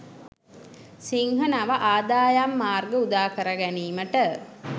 සිංහ නව ආදායම් මාර්ග උදාකර ගැනීමට